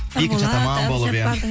екінші атаман болып иә